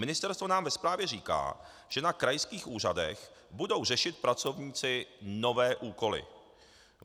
Ministerstvo nám ve zprávě říká, že na krajských úřadech budou řešit pracovníci nové úkoly.